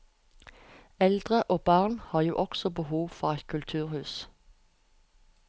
Eldre og barn har jo også behov for et kulturhus.